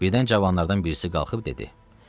Birdən cavanlardan birisi qalxıb dedi: